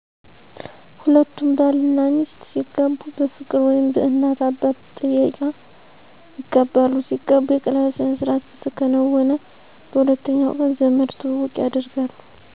ሁለቱም ባል እናሚስት ሲጋቡ በፍቅር ወይም በእናት አባት ጥየቃ ይጋባሉ። ሲጋቡ የቀለበት ስነስርዓት በተከናወነ በሁለተኛ ቀን ዘመድ ትውውቅ ያደርጋሉ።